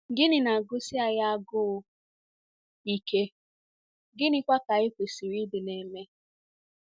Gịnị na-agụsi anyị agụụ ike, gịnịkwa ka anyị kwesịrị ịdị na-eme?